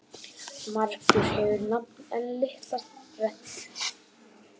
Margur hefur nafn en litla rentu.